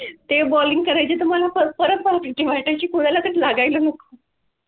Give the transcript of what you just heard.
ते bowling करायची तुम्हाला फरक भरती व्हाय ची कुणा लाच लागला